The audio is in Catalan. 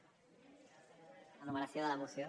la numeració de la moció